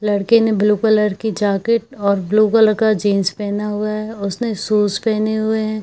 लड़के ने blue colour की जैकेट और ब्लू कलर की जीन्स पहना हुआ है उसने शूज़ पहने हुए है।